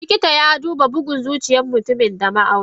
Likitan yaduba bugun zuciyar mutumin da ma auni.